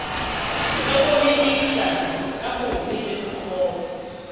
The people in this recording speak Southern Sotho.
hlokomedisa ka bobe le bokgopo